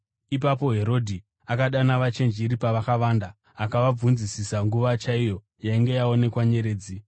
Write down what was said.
Ipapo Herodhi akadana Vachenjeri pakavanda akavabvunzisisa nguva chaiyo yainge yaonekwa nyeredzi.